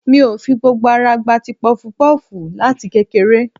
Mi ò fi gbogbo ara gba ti pọfupọ́ọ̀fù láti kékeré